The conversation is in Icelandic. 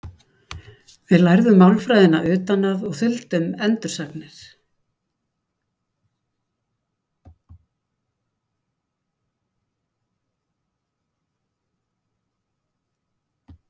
Við lærðum málfræðina utan að og þuldum endursagnir.